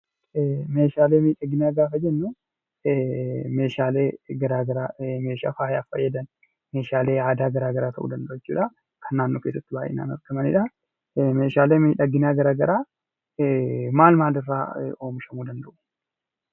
Meeshaalee miidhaginaa gaafa jennu meeshaalee garaa garaa meeshaa faayaaf fayyadan, meeshaalee aadaa garaa garaa ta'uu danda'u jechuudha. Kan naannoo keessatti baay'inaan argamanidha. Meeshaalee miidhaginaa garaa garaa maal maal irraa oomishamuu danda'u?